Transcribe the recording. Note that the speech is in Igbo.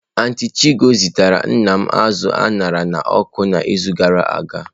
Antịị m Chigo zitara nna m azụ a ṅara n'ọkụ n'izu gara aga.